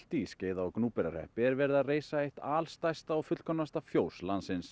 í Skeiða og Gnúpverjahreppi er verið að reisa eitt alstærsta og fullkomnasta fjós landsins